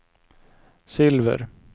silver